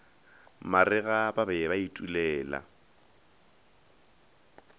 marega ba be ba itulela